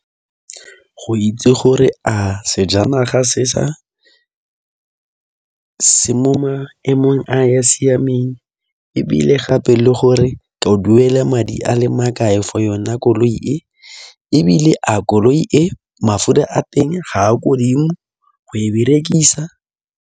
Go itse gore a sejanaga se mo maemong a a siameng ebile gape le gore ke duela madi a le makae for yone koloi e ebile a koloi e mafura a teng ga a ko godimo go e berekisa.